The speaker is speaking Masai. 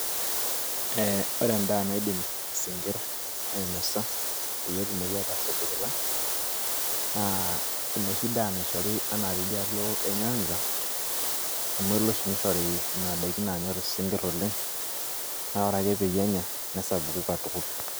ore edaa naidim isinkir ainosa peyie etumoki aatasapukita, enoshi daa naishori anaa teidialo e nyanza, amu elo oshi nishori nena daikin naanyor isnkir oleng. naa ore ake peyie enya nesapuku katukul.